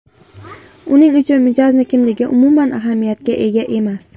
Uning uchun mijozning kimligi umuman ahamiyatga ega emas.